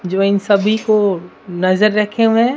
जो इन सभी को नजर रखे हुए हैं।